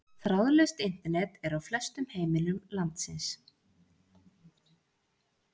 þráðlaust internet er á flestum heimilum landsins